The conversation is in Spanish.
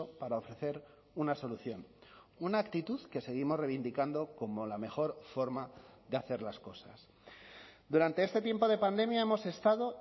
para ofrecer una solución una actitud que seguimos reivindicando como la mejor forma de hacer las cosas durante este tiempo de pandemia hemos estado